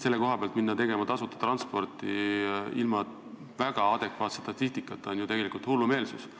Selle koha pealt minna tegema tasuta transporti ilma väga adekvaatse statistikata on tegelikult hullumeelsus.